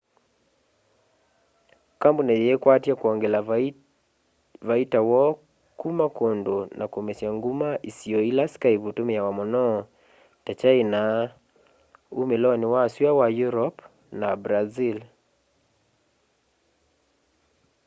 kambuni yiikwatya kwongela vaita woo kuma kundu na kumesya nguma isio ila skype itumiawa muno ta kyaina umiloni wa sua wa europe na brazil